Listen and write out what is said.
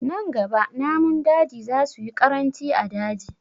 Nan gaba namun daji za su yi ƙaranci a daji